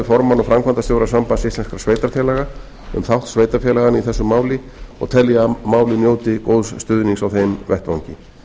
og framkvæmdastjóra sambands íslenskra sveitarfélaga um þátt sveitarfélaganna í þessu máli og tel ég að málið njóti góðs stuðnings á þeim vettvangi